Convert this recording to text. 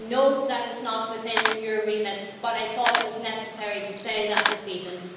I know that it's not within your remit, but I thought it was necessary to say that this evening.